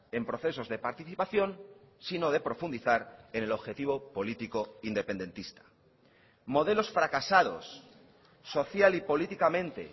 en procesos de participación sino de profundizar en el objetivo político independentista modelos fracasados social y políticamente